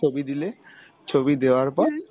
ছবি দিলে ছবি দেওয়ার পর